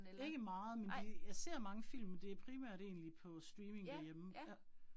Ikke meget, men de jeg ser mange film, men det primært egentlig på streaming derhjemme, ja